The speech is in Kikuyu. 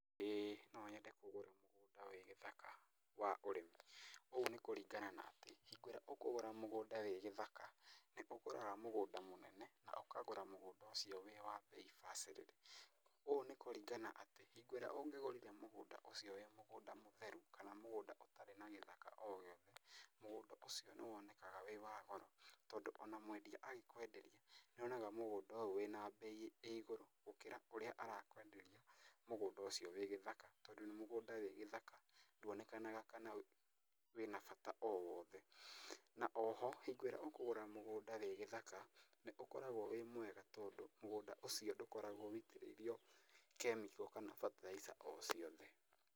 Ĩĩ no nyende kũgũra mũgũnda wĩ gĩthaka wa ũrĩmi. Ũũ nĩkũringana na atĩ hĩndĩ ĩrĩa ũkũgũra mũgũnda wĩ gĩthaka nĩũgũraga mũgũnda mũnene na ũkagũra mũgũnda cũio wĩ wa mbei bacĩrĩre. Ũũ nĩkũringana atĩ, hĩngo ĩrĩa ũngĩgũrire mũgũnda ũcio wĩ mũgũnda mũtheru kana mũgũnda ũtarĩ na gĩthaka o gĩothe, mũgũnda ũcio nĩwonekaga wĩ wa goro, tondũ ona mwendia agĩkwenderia nĩonaga mũgũnda ũyũ wĩna mbei ĩ igũrũ gũkĩra ũrĩa arakwenderia mũgũnda ũcio wĩ gĩthaka, tondũ mũgũnda wĩ gĩthaka nduonekanaga kana wĩna bata o wothe. Na oho, hingo ĩrĩa ũkũgũra mũgũnda wĩ gĩthaka nĩũkoragwo wĩ mwega tondũ, mũgũnda ũcio ndũkoragwo wĩitĩrĩirio kemiko kana bataraitha o ciothe.